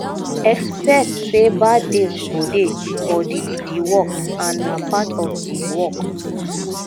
expect sey bad days go dey for di di work and na part of di work